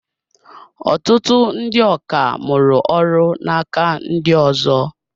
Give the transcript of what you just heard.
Ọtụtụ ndị ọkà mụrụ ọrụ n'aka ndị ọzọ.